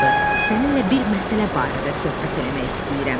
Səninlə bir məsələ barədə söhbət eləmək istəyirəm.